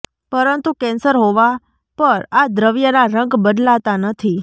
પરંતુ કેન્સર હોવા પર આ દ્રવ્યના રંગ બદલાતા નથી